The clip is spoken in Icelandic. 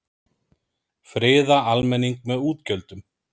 Friða almenning með útgjöldum